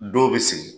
Dɔw bɛ sigi